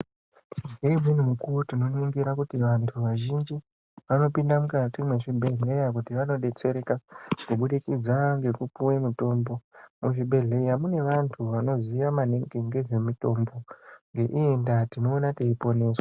Ngeumweni mukuwo tinoningira kuti vantu vazhinji vanopinda mukati mwezvibhedhleya kuti vandodetsereka kuburikidza ngekupuwa mitombo, muzvibhedhleya mune vanthu vanoziya maningi ngezvemutombo, ngeiyi ndaa tinoona teiponeswa.